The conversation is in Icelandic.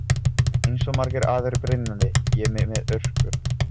Eins og margir aðrir brynjaði ég mig með hörku.